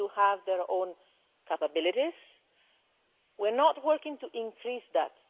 they have their own capabilities. We are not working to increase that.